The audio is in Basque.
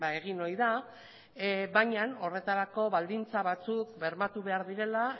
egin ohi da baina horretarako baldintza batzuk bermatu behar direla